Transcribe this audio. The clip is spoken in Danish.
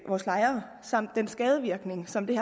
vores lejere samt den skadevirkning som det